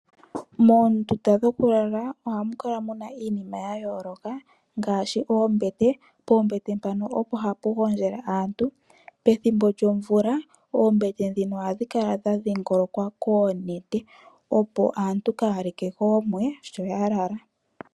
Moondunda dhoku lala ohamu kala